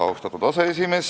Austatud aseesimees!